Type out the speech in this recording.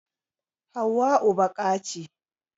Hauwau baƙa ce